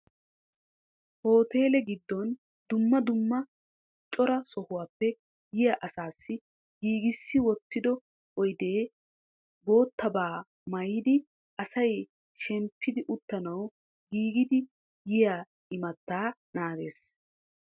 Hooteele giddon dumma dumma cora sohuwappe yiya asaassi giigissi wottido oydee boottabaa maayidi asay shemppidi uttanawu giigidi yiya imattaa naagees.